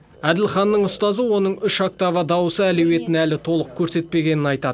әділханның ұстазы оның үш октава дауысы әлеуетін әлі толық көрсетпегенін айтады